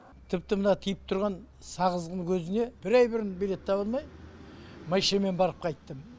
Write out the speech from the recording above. тіпті мына тиіп тұрған сағыздың өзіне бір ай бұрын билет таба алмай машинамен барып қайттым